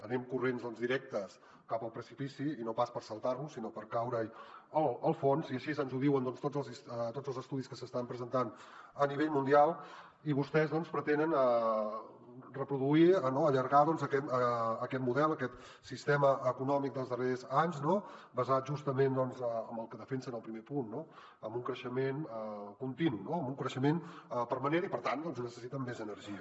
anem corrents directes cap al precipici i no pas per saltar lo sinó per caure hi al fons i així ens ho diuen tots els estudis que s’estan presentant a nivell mundial i vostès pretenen reproduir allargar aquest model aquest sistema econòmic dels darrers anys basat justament en el que defensen al primer punt no en un creixement continu en un creixement permanent i per tant necessiten més energia